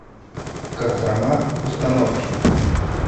кострома установки